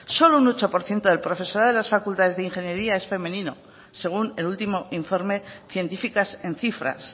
solo un ocho por ciento del profesorado de las facultades de ingeniería es femenino según el último informe científicas en cifras